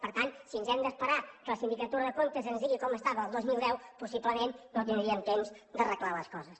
per tant si ens hem d’esperar que la sindicatura de comptes ens digui com estava el dos mil deu possiblement no tindríem temps d’arreglar les coses